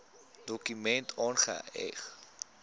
dokument aangeheg